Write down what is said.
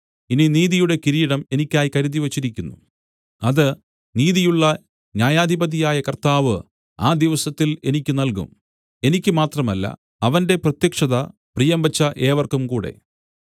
ഇനി നീതിയുടെ കിരീടം എനിക്കായി കരുതിവച്ചിരിക്കുന്നു അത് നീതിയുള്ള ന്യായാധിപതിയായ കർത്താവ് ആ ദിവസത്തിൽ എനിക്ക് നല്കും എനിക്ക് മാത്രമല്ല അവന്റെ പ്രത്യക്ഷത പ്രിയംവച്ച ഏവർക്കുംകൂടെ